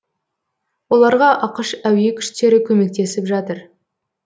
оларға ақш әуе күштері көмектесіп жатыр